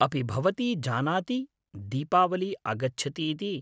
अपि भवती जानाति दीपावली आगच्छति इति!